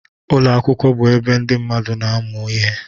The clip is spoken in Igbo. Ụlọ akwụkwọ bụ ebe ndị mmadụ na-amụ ihe